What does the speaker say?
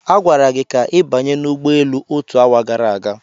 A gwara gị ka ị banye n'ụgbọelu otu awa gara aga.